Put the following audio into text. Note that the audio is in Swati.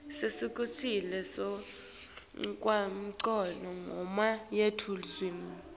kusetjentiswa kwalenchubomgomo yelulwimi